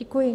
Děkuji.